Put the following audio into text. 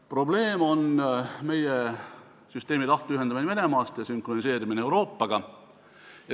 Probleem on meie süsteemi lahtiühendamine Venemaast ja sünkroniseerimine Euroopaga.